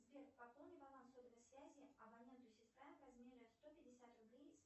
сбер пополни баланс сотовой связи абоненту сестра в размере сто пятьдесят рублей